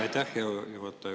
Aitäh, hea juhataja!